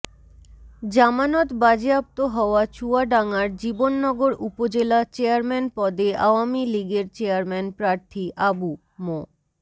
জামানত বাজেয়াপ্ত হওয়া চুয়াডাঙ্গার জীবননগর উপজেলা চেয়ারম্যান পদে আওয়ামী লীগের চেয়ারম্যান প্রার্থী আবু মো